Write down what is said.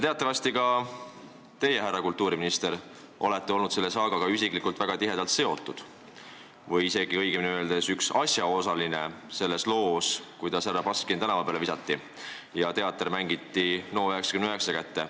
Teatavasti ka teie, härra kultuuriminister, olete selle saagaga isiklikult väga tihedalt seotud olnud, õigemini öeldes te olete olnud üks asjaosaline selles loos, kui härra Baskin tänava peale visati ja teater mängiti NO99 kätte.